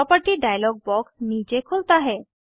property dialog box नीचे खुलता है